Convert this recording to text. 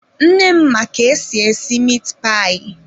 Nne m ma ka esi esi mit payi.